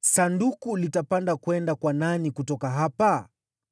Sanduku litapanda kwenda kwa nani kutoka hapa?”